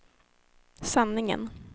sanningen